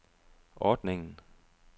ordningen